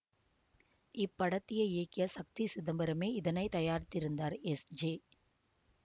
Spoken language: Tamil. இப்படத்தை இயக்கிய சக்தி சிதம்பரமே இதனை தயாரித்திருந்தார் எஸ் ஜே